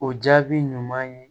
O jaabi ɲuman ye